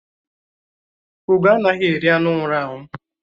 Ugó anaghị eri anụ nwụrụ anwụ